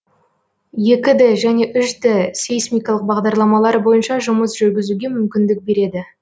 екі д және үш д сейсмикалық бағдарламалар бойынша жұмыс жүргізуге мүмкіндік береді